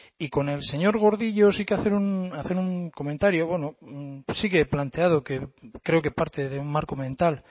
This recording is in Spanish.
y con el señor gordillo sí que hacer un comentario bueno sí que he planteado que creo que parte de un marco mental